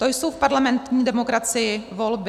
To jsou v parlamentní demokracii volby.